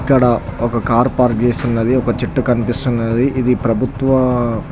ఇక్కడ ఒక car park చేసి ఉన్నది ఒక చెట్టు కనిపిస్తునది ఇది ఒక ప్రభుత్వ --